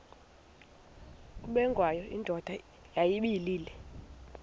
ubengwayo indoda yayibile